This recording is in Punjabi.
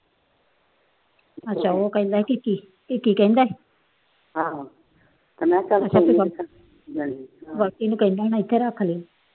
ਅੱਛਾ ਉਹ ਕਹਿੰਦਾ ਕਿ ਕਹਿੰਦਾ ਬਾਕੀ ਉਹਨੂੰ ਕਹਿੰਦਾ ਹੋਣਾ ਇੱਥੇ ਰੱਖ ਲਈ।